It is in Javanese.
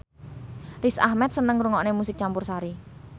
Riz Ahmed seneng ngrungokne musik campursari